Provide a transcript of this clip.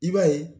I b'a ye